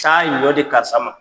Taa ɲɔ di karisa ma.